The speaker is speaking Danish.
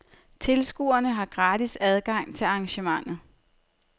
Tilskuere har gratis adgang til arrangementet.